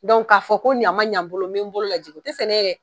ka fɔ ko yan ma ɲan n bolo, n be n bolo lajigin o te sɛnɛ ye dɛ!